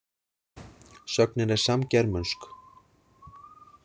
Sögnin er samgermönsk.